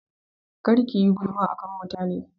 Kar kiyi gulma akan mutane